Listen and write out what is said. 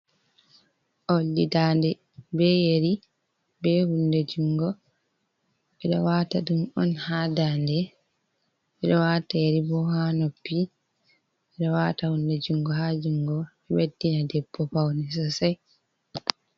Oldi dande be yeri be hunde jungo, ɓe ɗo wata ɗum on ha dande, ɓe ɗo wata yari bo ha noppi, ɓe ɗo wata hunde jungo ha jungo, beddina debbo paune sosai.